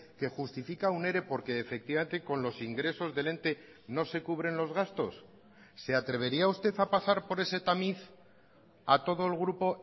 que justifica un ere porque efectivamente con los ingresos del ente no se cubren los gastos se atrevería usted a pasar por ese tamiz a todo el grupo